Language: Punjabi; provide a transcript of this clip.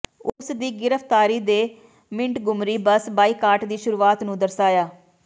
ਉਸ ਦੀ ਗ੍ਰਿਫ਼ਤਾਰੀ ਨੇ ਮਿੰਟਗੁਮਰੀ ਬੱਸ ਬਾਇਕਾਟ ਦੀ ਸ਼ੁਰੂਆਤ ਨੂੰ ਦਰਸਾਇਆ